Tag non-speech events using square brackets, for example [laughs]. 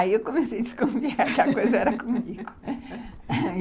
Aí eu comecei a descobrir que a coisa era comigo. [laughs]